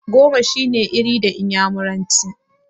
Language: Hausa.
Goma shine 'Iri' da iyamuranci.